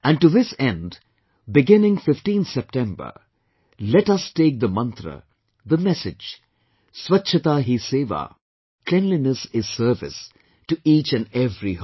And to this end beginning 15th September let us take the mantra, the message, Swachchata Hi Seva, Cleanliness is Service to each and every home